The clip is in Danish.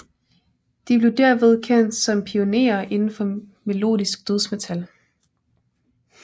De blev derved kendt som pioneere indenfor melodisk dødsmetal